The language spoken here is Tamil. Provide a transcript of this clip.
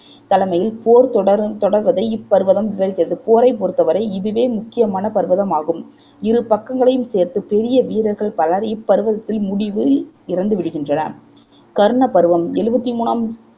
தலைமையில் போர் தொடரு தொடர்வதை இப் பர்வதம் விவரிக்கின்றது போரைப் பொறுத்தவரை இதுவே முக்கியமான பர்வதமாகும் இரு பக்கங்களையும் சேர்த்து பெரிய வீரர்கள் பலர் இப் பர்வதத்தின் முடிவில் இறந்துவிடுகின்றனர் கர்ண பருவம் எழுவத்தி மூணாம்